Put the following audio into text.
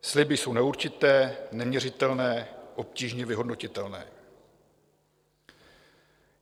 Sliby jsou neurčité, neměřitelné, obtížně vyhodnotitelné.